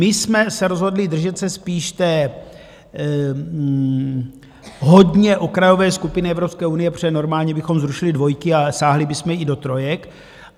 My jsme se rozhodli držet se spíš té hodně okrajové skupiny Evropské unie, protože normálně bychom zrušili dvojky a sáhly bychom i do trojek.